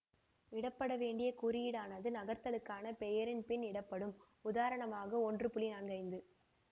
இடப்படவேண்டிய குறியீடானது நகர்த்தலுக்கான பெயரின் பின் இடப்படும் உதாரணமாக ஒன்று நான்கு ஐந்து